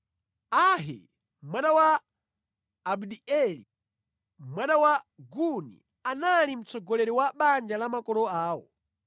Ahi mwana wa Abdieli, mwana wa Guni, anali mtsogoleri wa banja la makolo awo.